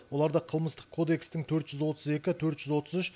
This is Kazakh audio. оларды қылмыстық кодекстің төрт жүз отыз екі төрт жүз отыз үш